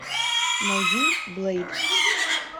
найди блэйд